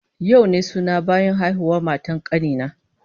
Yau ne suna bayan haihuwar matar kani na